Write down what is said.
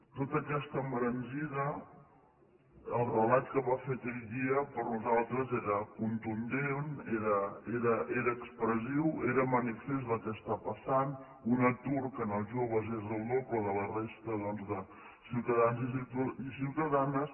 tota aquesta embranzida el relat que va fer aquell dia per nosaltres era contundent era expressiu era manifest del que està passant un atur que en els joves és del doble de la resta doncs de ciutadans i ciutadanes